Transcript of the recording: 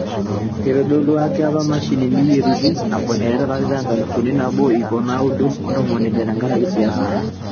Eitodolua ake ina mashini eyietuti eiteru to lari le nkalifu nabo ip o naoudo o ntomoni ile tenkaraki siasa.